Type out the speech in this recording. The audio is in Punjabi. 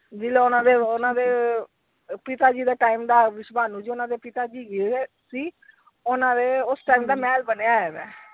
ਜਦੋਂ ਓਹਨਾ ਦੇ ਓਹਨਾ ਦੇ ਪਿਤਾ ਜੇ ਦੇ time ਦਾ ਓਹਨਾ ਦੇ ਪਿਤਾ ਜੀ ਹੈਗੇ ਸੀ ਓਹਨਾ ਦੇ ਉਸ time ਦਾ ਮਹਿਲ ਬਣਿਆ ਹੋਇਆ ਵਾ।